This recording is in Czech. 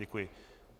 Děkuji.